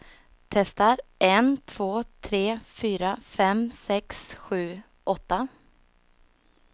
Testar en två tre fyra fem sex sju åtta.